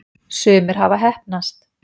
sumir hafa heppnast